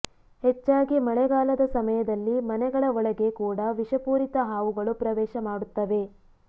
ಹೆಚ್ಚಾಗಿ ಮಳೆಗಾಲದ ಸಮಯದಲ್ಲಿ ಮನೆಗಳ ಒಳಗೆ ಕೂಡ ವಿಷಪೂರಿತ ಹಾವುಗಳು ಪ್ರವೇಶ ಮಾಡುತ್ತವೆ